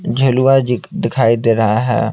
जिलवा जी दिखाई दे रहा है।